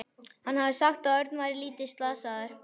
Hann hafði sagt að Örn væri lítið slasaður.